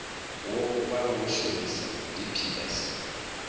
wo vha wo shumisa dps